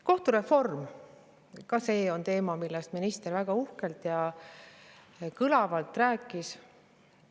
Kohtureform – ka see on teema, millest minister väga uhkelt ja kõlavalt rääkis.